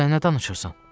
Sən nə danışırsan?